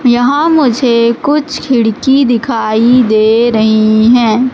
यहां मुझे कुछ खिड़की दिखाई दे रहीं हैं।